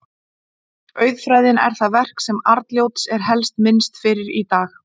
Auðfræðin er það verk sem Arnljóts er helst minnst fyrir í dag.